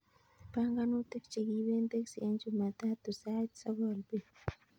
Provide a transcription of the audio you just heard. Panganutik che kiipen teksi en jumatatu sait sogol bet